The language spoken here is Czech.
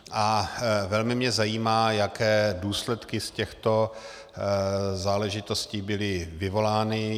A velmi mě zajímá, jaké důsledky z těchto záležitostí byly vyvolány.